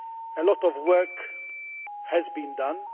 A lot of work has been done.